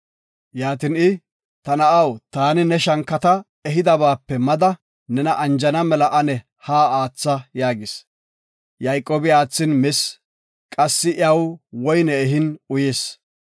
Yaatin I, “Ta na7aw, taani ne shankata ehidabaape mada nena anjana mela ane ha aatha” yaagis. Yayqoobi aathin mis, qassi iyaw woyne ehin uyis.